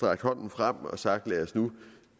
rakt hånden frem og sagt lad os nu